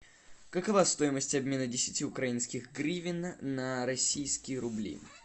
какова стоимость обмена десяти украинских гривен на российские рубли